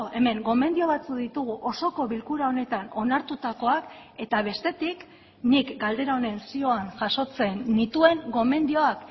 hemen gomendio batzuk ditugu osoko bilkura honetan onartutakoak eta bestetik nik galdera honen zioan jasotzen nituen gomendioak